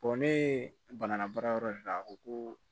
ne ye bana baara yɔrɔ de la a ko ko